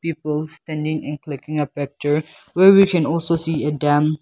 both standing a clicking a picture where we can also see a dam.